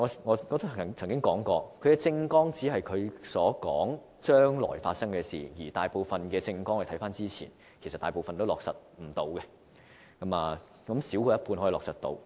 我曾經說過，他們的政綱只是說將來會發生的事，而按過去的經驗，大部分政綱承諾都無法落實，少於一半的承諾能夠落實。